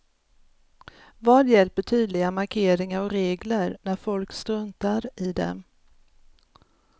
Vad hjälper tydliga markeringar och regler, när folk struntar i dem.